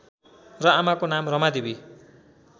र आमाको नाम रमादेवी